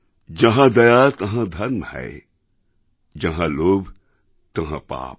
যাঁহা দয়া তহঁ ধর্ম হ্যায় যাহাঁ লোভ তহঁ পাপ